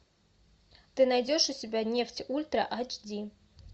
ты найдешь у себя нефть ультра айч ди